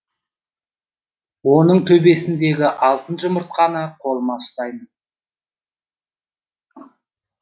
оның төбесіндегі алтын жұмыртқаны қолыма ұстаймын